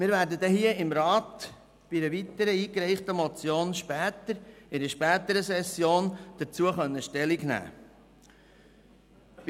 Wir werden im Grossen Rat zu einer weiteren eingereichten Motion in einer späteren Session Stellung nehmen können.